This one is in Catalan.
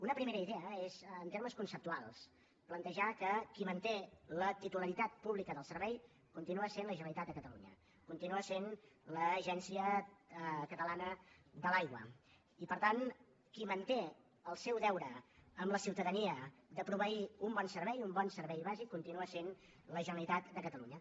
una primera idea és en termes conceptuals plantejar que qui manté la titularitat pública del servei continua sent la generalitat de catalunya continua sent l’agència catalana de l’aigua i per tant qui manté el seu deure amb la ciutadania de proveir un bon servei un bon servei bàsic continua sent la generalitat de catalunya